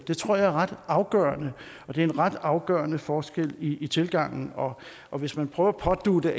det tror jeg er ret afgørende og det er en ret afgørende forskel i tilgangen og og hvis man prøver at pådutte